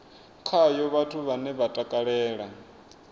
khayo vhathu vhane vha takalela